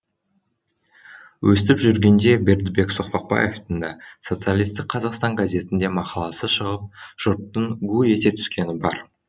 өстіп жүргенде бердібек соқпақбаевтың да социалистік қазақстан газетінде мақаласы шығып жұрттың гу ете түскені бар